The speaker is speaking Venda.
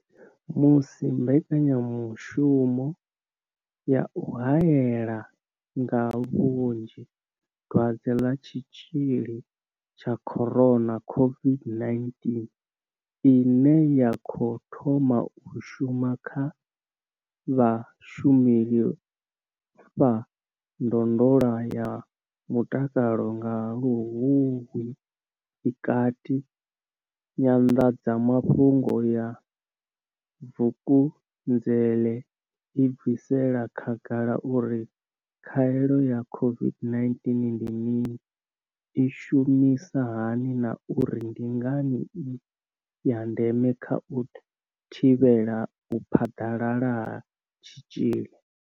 Musi mbekanya mushumo ya u haela nga vhunzhi Dwadze ḽa Tshitzhili tsha corona COVID-19 ine ya khou thoma u shuma kha vhashumeli vha ndondolo ya mutakalo nga Luhuhi i kati, Nyanḓadza mafhungo ya Vukunzele i bvisela khagala uri khaelo ya COVID-19 ndi mini, i shumisa hani na uri ndi ngani i ya ndeme kha u thivhela u phaḓalala ha tshitzhili.